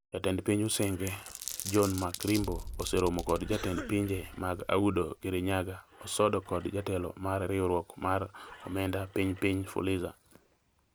Jatend piny Usenge, John MarkRimbo, oseromo kod jatend pinje mag Audo, Kirinyaga, Osodo kod jatelo mar riwruok mar Omenda Piny Piny, Fuliza.